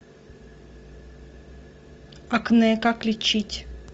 акне как лечить